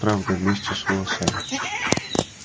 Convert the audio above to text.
правда вместе с волосами